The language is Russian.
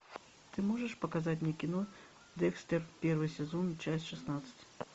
ты можешь показать мне кино декстер первый сезон часть шестнадцать